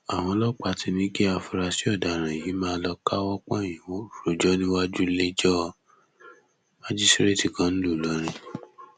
àwọn ọlọpàá ti ní kí àfúráṣí ọdaràn yìí máa lọọ káwọ pọnyìn rojọ níwájú iléẹjọ májísíréètì kan ńlùú ìlọrin